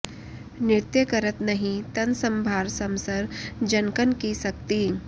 नृत्य करत नहिं तन सँभार समसर जनकन की सकति